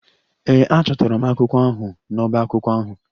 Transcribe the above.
Ee, achọtara m akwụkwọ ahụ n'ọbá akwụkwọ ahụ.